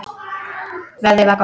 Veðrið var gott.